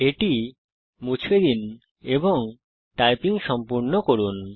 এটি মুছে দিন এবং টাইপিং সম্পূর্ণ করুন